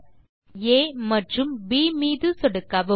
புள்ளிகள் ஆ மற்றும் ப் மீது சொடுக்கவும்